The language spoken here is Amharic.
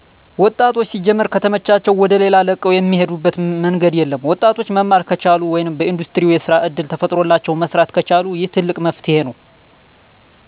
ወጣቶች ሲጀመር ከተመቻቸላዉ ወደሌላ ለቀዉ እሚሄዱበት መንገድ የለም። ወጣቶች መማር ከቻሉ ወይም በኢንዱስትሪው የስራ እድል ተፈጥሮላቸው መስራት ከቻሉ ይህ ትልቅ መፍትሄ ነው።